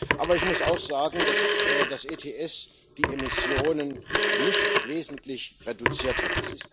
Aber ich muss auch sagen, dass das ETS die Emissionen nicht wesentlich reduziert hat.